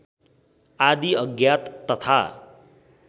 आदि अज्ञात तथा